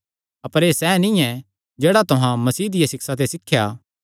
अपर एह़ सैह़ नीं ऐ जेह्ड़ा तुहां मसीह दियां सिक्षां ते सिखया